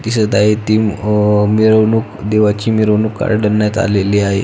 दिसत आहे ती अ मिरवणूक देवाची मिरवणूक काढण्यात आलेली आहे.